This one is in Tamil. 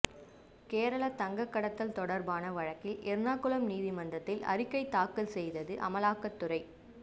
கேரள தங்க கடத்தல் தொடர்பான வழக்கில் எர்ணாகுளம் நீதிமன்றத்தில் அறிக்கை தாக்கல் செய்தது அமலாக்கத்துறை